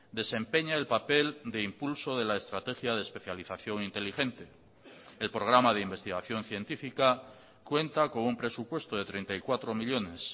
desempeña el papel de impulso de la estrategia de especialización inteligente el programa de investigación científica cuenta con un presupuesto de treinta y cuatro millónes